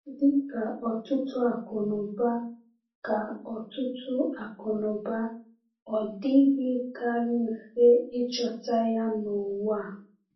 Dị ka ọtụtụ akụnụba, ka ọtụtụ akụnụba, ọ dịghịkarị mfe ịchọta ya n’ụwa a.